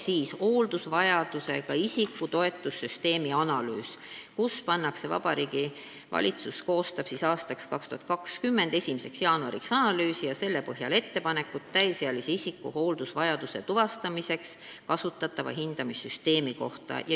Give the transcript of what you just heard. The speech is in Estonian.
Seda täiendatakse paragrahviga, mille kohaselt Vabariigi Valitsus koostab 2020. aasta 1. jaanuariks analüüsi ja selle põhjal ettepanekud täisealise isiku hooldusvajaduse tuvastamiseks kasutatava hindamissüsteemi kohta.